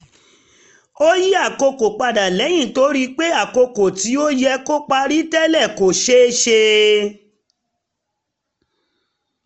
ó yí àkókò padà lẹ́yìn tó rí pé àkókò tí ó yẹ kó parí tẹ́lẹ̀ kò ṣé ṣe